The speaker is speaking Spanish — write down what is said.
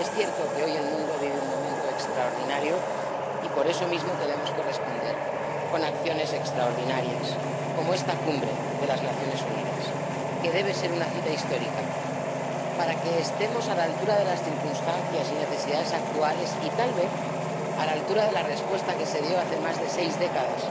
Es cierto que hoy el mundo vive un momento extraordinario y por eso mismo tenemos que responder con acciones extraordinarias, como esta Cumbre de las Naciones Unidas, que debe ser una cita histórica para que estemos a la altura de las circunstancias y necesidades actuales y, tal vez, a la altura de la respuesta que se dio hace más de seis décadas,